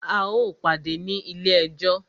A o pàdé ní ilé ẹjọ́!